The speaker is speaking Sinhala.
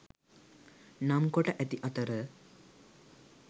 නම් කොට ඇති අතර